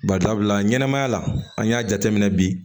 Bari sabula ɲɛnɛmaya la an y'a jateminɛ bi